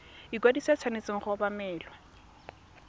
ikwadiso e tshwanetse go obamelwa